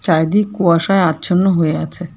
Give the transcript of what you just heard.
একদিন কুয়াশায় আচ্ছন্ন হয়ে আছে।